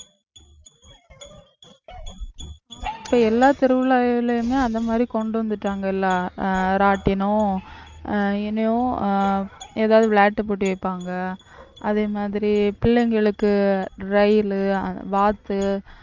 இப்ப எல்லா தெருவுலயுமே அந்த மாதிரி கொண்டு வந்துட்டாங்கல ஆஹ் இராட்டினம் ஆஹ் என்னையும் ஆஹ் ஏதாவது விளையாட்டு போட்டி வைப்பாங்க அதே மாதிரி பிள்ளைங்களுக்கு ரயிலு வாத்து